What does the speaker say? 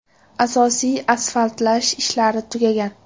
Asosiy asfaltlash ishlari tugagan.